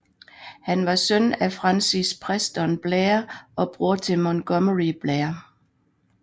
Han var søn af Francis Preston Blair og bror til Montgomery Blair